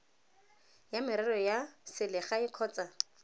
ya merero ya selegae kgotsa